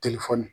Telefɔni